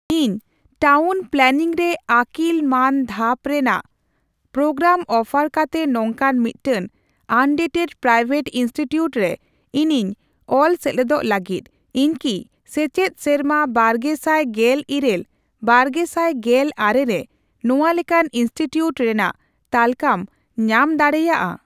ᱤᱧ town planning ᱨᱮ ᱟᱹᱠᱤᱞ ᱢᱟᱱ ᱫᱷᱟᱯ ᱨᱮᱱᱟᱜ ᱯᱨᱳᱜᱨᱟᱢ ᱚᱯᱷᱟᱨ ᱠᱟᱛᱮ ᱱᱚᱝᱠᱟᱱ ᱢᱤᱫᱴᱟᱝ ᱟᱱᱮᱰᱮᱰᱼᱯᱨᱟᱭᱣᱮᱴ ᱤᱱᱥᱴᱤᱴᱤᱭᱩᱴ ᱨᱮ ᱤᱧᱤᱧ ᱚᱞ ᱥᱮᱞᱮᱫᱚᱜ ᱞᱟᱹᱜᱤᱫ, ᱤᱧ ᱠᱤ ᱥᱮᱪᱮᱫ ᱥᱮᱨᱢᱟ ᱵᱟᱨᱜᱮᱥᱟᱭ ᱜᱮᱞᱤᱨᱟᱹᱞᱼᱵᱟᱨᱜᱮᱥᱟᱭ ᱜᱮᱞ ᱟᱨᱮ ᱨᱮ ᱱᱚᱣᱟ ᱞᱮᱠᱟᱱ ᱤᱱᱥᱴᱤᱴᱤᱭᱩᱴ ᱨᱮᱱᱟᱜ ᱛᱟᱹᱞᱠᱟᱹᱢ ᱧᱟᱢ ᱫᱟᱲᱮᱭᱟᱜᱼᱟ ?